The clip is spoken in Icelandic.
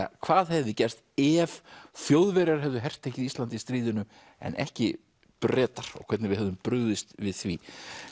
hvað hefði gerst ef Þjóðverjar hefðu hertekið Ísland í stríðinu en ekki Bretar og hvernig við hefðum brugðist við því